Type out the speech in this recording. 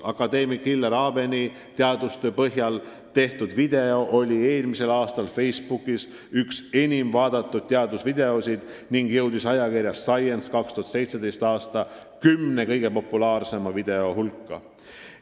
Akadeemik Hillar Abeni teadustöö põhjal tehtud video oli eelmisel aastal Facebookis üks enim vaadatud teadusvideoid ning jõudis ajakirja Science 2017. aasta kümne kõige populaarsema video hulka.